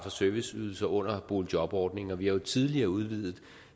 serviceydelser under boligjobordningen og vi har jo tidligere udvidet